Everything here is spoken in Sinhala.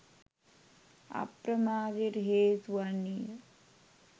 අප්‍රමාදයට හේතු වන්නේ ය